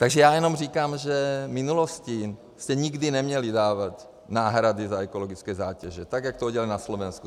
Takže já jenom říkám, že v minulosti se nikdy neměly dávat náhrady za ekologické zátěže, tak jak to udělali na Slovensku.